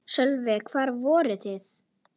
Sölvi: Hvar voru þeir?